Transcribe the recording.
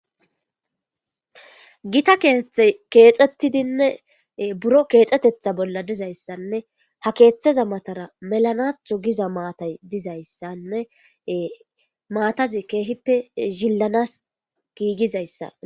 gita kete keexxettidinne buro keexxetetha bolla dizayssanne ha keeththeza matara melanathu giza maatay dizayssanne maatazi keehippe zillanas giigizayssa